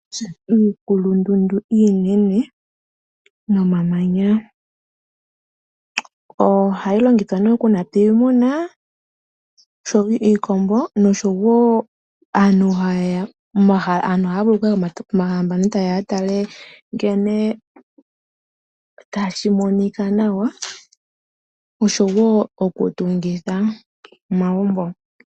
Iikulundundu iinene nomamanya ohayi longithwa nee oku napa iimuna ngaashi iikombo, nosho woo aantu haya vulu okuya pomahala mpono yatale nkene tashi monika nawa nosho woo okutungitha omagumbo.